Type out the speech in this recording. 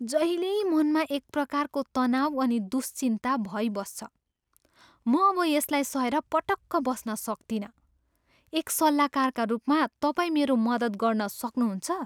जहिल्यै मनमा एक प्रकारको तनाउ अनि दुश्चिन्ता भइबस्छ। म अब यसलाई सहेर पटक्क बस्न सक्तिनँ। एक सल्लाहकारका रूपमा तपाईँ मेरो मद्दत गर्न सक्नुहुन्छ?